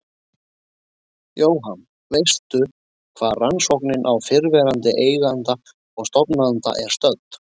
Jóhann: Veistu hvar rannsóknin á fyrrverandi eiganda og stofnanda er stödd?